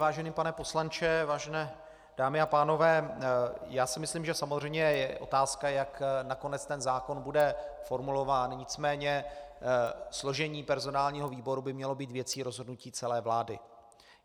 Vážený pane poslanče, vážené dámy a pánové, já si myslím, že samozřejmě je otázka, jak nakonec ten zákon bude formulován, nicméně složení personálního výboru by mělo být věcí rozhodnutí celé vlády.